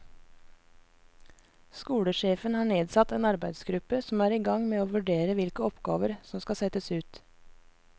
Skolesjefen har nedsatt en arbeidsgruppe som er i gang med å vurdere hvilke oppgaver som kan settes ut.